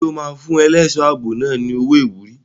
Ṣé o máa fún ẹlẹ́ṣọ̀ ààbò náà ní owó ìwúrí?